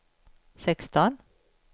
sexton